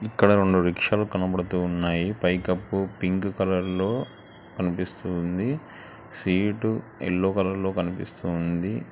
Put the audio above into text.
ఇక్కడ రెండు రిక్షాలు కనపడుతూ ఉన్నాయి పైకప్పు పింక్ కలర్ లో కనిపిస్తూ ఉంది సీటు యెల్లో కలర్ లో కనిపిస్తూ ఉంది.